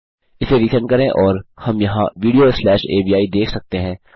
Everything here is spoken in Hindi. इसे रिसेंड करें और और हम यहाँ वीडियो स्लैश अवि देख सकते हैं